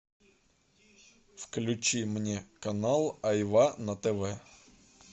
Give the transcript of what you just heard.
включи мне канал айва на тв